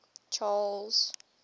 charles